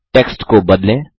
text को बदलें